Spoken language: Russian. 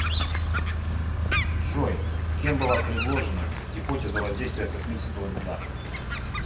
джой кем была предложена гипотеза воздействия космического льда